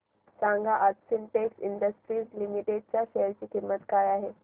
सांगा आज Sintex industries limited च्या शेअर ची किंमत काय आहे